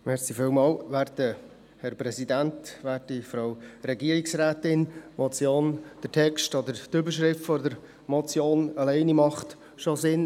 Die Motion, der Text, oder schon allein die Überschrift der Motion macht Sinn.